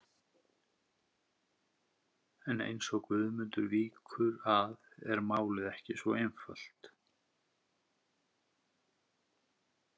En eins og Guðmundur víkur að er málið ekki svo einfalt.